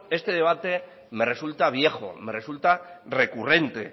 este debate me resulta viejo me resulta recurrente